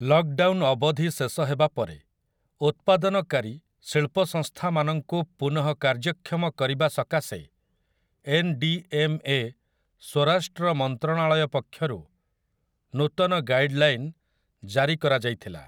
Lockdown ଅବଧି ଶେଷ ହେବାପରେ ଉତ୍ପାଦନକାରୀ ଶିଳ୍ପସଂସ୍ଥାମାନଙ୍କୁ ପୁନଃ କାର୍ଯ୍ୟକ୍ଷମ କରିବା ସକାଶେ ଏନ୍. ଡି. ଏମ୍. ଏ. ସ୍ୱରାଷ୍ଟ୍ର ମନ୍ତ୍ରଣାଳୟ ପକ୍ଷରୁ ନୂତନ ଗାଇଡ୍‌ଲାଇନ୍‌ ଜାରି କରାଯାଇଥିଲା ।